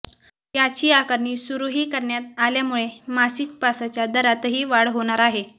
याची आकारणी सुरूही करण्यात आल्यामुळे मासिक पासच्या दरातही वाढ होणार आहे